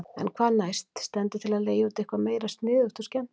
En hvað næst, stendur til að leigja út eitthvað meira sniðugt og skemmtilegt?